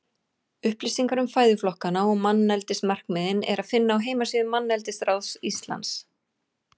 Upplýsingar um fæðuflokkana og manneldismarkmiðin er að finna á heimasíðu Manneldisráðs Íslands.